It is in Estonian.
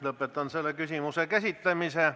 Lõpetan selle küsimuse käsitlemise.